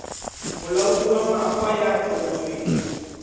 molaodi wa mafa ya thontsweng